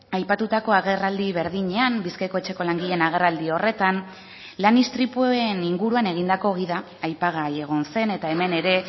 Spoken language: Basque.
aipatutako agerraldi berdinean bizkaiko etxeko langileen agerraldi horretan lan istripuen inguruan egindako gida aipagai egon zen eta hemen ere